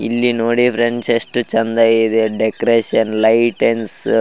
ಇಲ್ಲಿ ನೋಡಿ ಫ್ರೆಂಡ್ಸ್ ಎಷ್ಟು ಚೆಂದ ಇದೆ ಡೆಕೋರೇಷನ್ ಲೈಟಿಂಗ್ಸ್ --